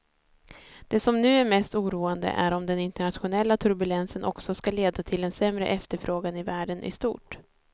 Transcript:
Det som nu är mest oroande är om den internationella turbulensen också ska leda till en sämre efterfrågan i världen i stort.